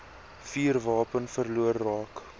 vuurwapen verlore raak